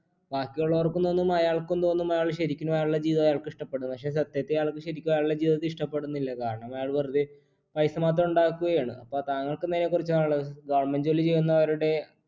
ബാക്കിയുള്ളോർക്കും തോന്നും അയാൾക്കും തോന്നും അയാൾ ശരിക്കുള്ള അയാളുടെ ജീവിതം അയാൾക്ക് ഇഷ്ട്ടപ്പെടുംന്ന് പക്ഷെ സത്യത്തിൽ അയാൾക്ക് ശരിക്കു അയാൾടെ ജീവിതത്തെ ഇഷ്ടപ്പെടുന്നില്ല കാരണം അയാൾ വേറുതെ പൈസ മാത്രം ഉണ്ടാക്കുകയാണ് അപ്പൊ താങ്കൾക്ക് എന്താ അതിനെ കുറിച്ച് പറയാനുള്ളത് government ജോലി ചെയ്യുന്നവരുടെ